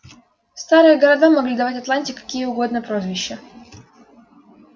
старые города могли давать атланте какие угодно прозвища